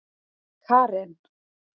Karen